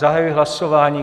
Zahajuji hlasování.